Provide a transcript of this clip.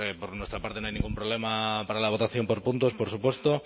por nuestra parte no hay ningún problema para la votación por puntos por supuesto